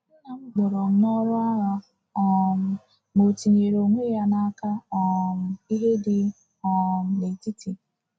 Nna m kpọrọ n’ọrụ agha, um ma o tinyere onwe ya n’aka um ìhè dị um n’etiti.